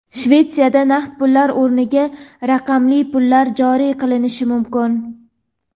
Shvetsiyada naqd pullar o‘rniga raqamli pullar joriy qilinishi mumkin.